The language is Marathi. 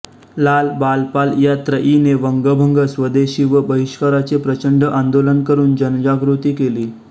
लाल बाल पाल या त्रयीने वंगभंग स्वदेशी व बहिष्कराचे प्रचंड आंदोलन करुन जनजागृती केली